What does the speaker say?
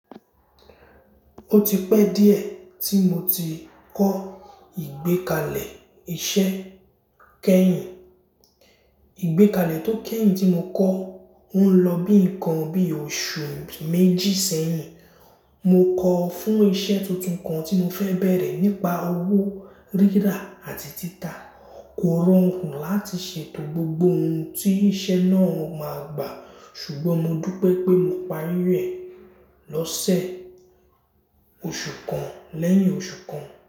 Ó ti pẹ́ díẹ̀ tí mo ti kọ́ ìgbékalẹ̀ iṣẹ́ keyin. Ìgbékalẹ̀ tó kẹ́yìn tí mo kọ́, ó ń lọ bí nǹkan bí oṣù méjì sẹ́yìn. Mo kọ ọ fún iṣẹ́ tuntun kan tí mo fẹ́ bẹ̀rẹ̀ nípa owó rírà àti títà. Kò rọrùn láti ṣètò gbogbo ohun tí iṣẹ́ náà máa gbà, ṣùgbọ́n mo dú pé pé mo parí rẹ̀ lọ́sẹ̀ oṣù kan lẹ́yìn oṣù kan.